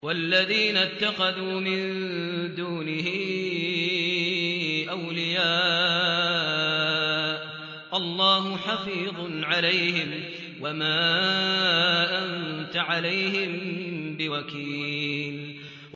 وَالَّذِينَ اتَّخَذُوا مِن دُونِهِ أَوْلِيَاءَ اللَّهُ حَفِيظٌ عَلَيْهِمْ وَمَا أَنتَ عَلَيْهِم بِوَكِيلٍ